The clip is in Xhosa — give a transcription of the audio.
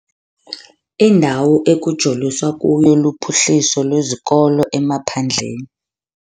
Indawo ekujoliswa kuyo luphuhliso lwezikolo emaphandleni.